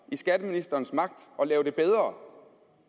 i skatteministerens magt at gøre det bedre